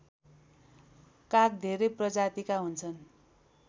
काग धेरै प्रजातिका हुन्छन्